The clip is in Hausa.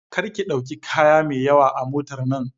Kar ki ɗauki kaya mai yawa a motar nan!